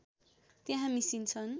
त्यहाँ मिसिन्छन्